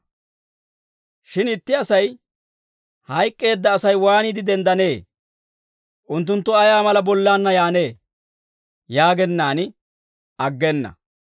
Shin itti asay, «Hayk'k'eedda Asay waaniide denddanee? Unttunttu ayaa mala bollaanna yaannee?» yaagennaan aggena.